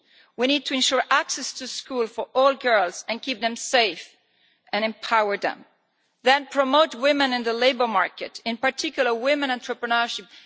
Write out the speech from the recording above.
We need to ensure access to school for all girls and keep them safe and empower them, then promote women in the labour market, in particular women's entrepreneurship